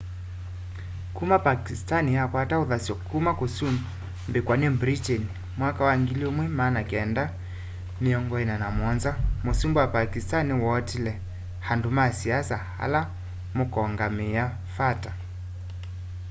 kuma pakistan yakwata uthasyo kuma kusumbikwa ni britain mwaka wa 1947 musumbi wa pakistan ni wootile andu ma siasa ala mukongamiia fata